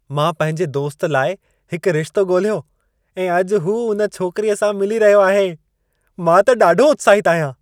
मां पंहिंजे दोस्त लाइ हिक रिश्तो ॻोल्हियो ऐं अॼु हू उन छोकिरीअ सां मिली रहियो आहे। मां त ॾाढो उत्साहित आहियां।